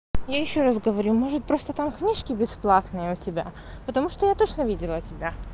я ещё раз говорю может просто там книжки бесплатные у тебя потому что я точно видела тебя